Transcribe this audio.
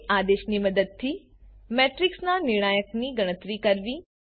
date આદેશની મદદથી મેટ્રિક્સના નિર્ણાયકની ગણતરી કરવી